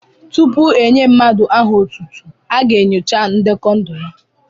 Tupu e nyé mmadụ aha otútú, a ga-enyocha ndekọ ndụ ya